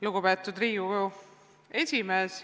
Lugupeetud Riigikogu esimees!